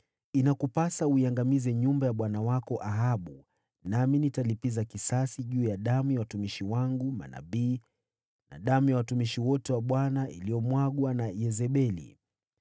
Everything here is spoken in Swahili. Inakupasa uiangamize nyumba ya bwana wako Ahabu, nami nitalipiza kisasi cha damu ya watumishi wangu manabii na damu ya watumishi wote wa Bwana iliyomwagwa na Yezebeli.